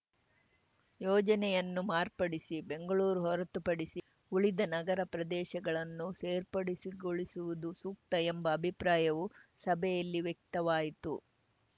ಯೋಜನೆಯನ್ನು ಮಾರ್ಪಡಿಸಿ ಬೆಂಗಳೂರು ಹೊರತುಪಡಿಸಿ ಉಳಿದ ನಗರ ಪ್ರದೇಶಗಳನ್ನು ಸೇರ್ಪಡೆಸಿಗೊಳಿಸುವುದು ಸೂಕ್ತ ಎಂಬ ಅಭಿಪ್ರಾಯವು ಸಭೆಯಲ್ಲಿ ವ್ಯಕ್ತವಾಯಿತು